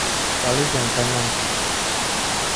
Kaloito enkang ang.